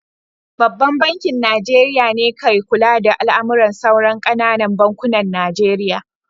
Babban bankin Nijeriya ne ka kula da al'amuran sauran ƙananan bankunan Najeriya